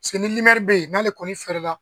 ni bɛ yen n'ale kɔni fɛrɛla.